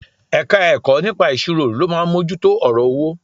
Ẹ̀ka-ẹ̀kọ́ nípa ìṣirò ló máa mójú ọ̀rọ̀ owó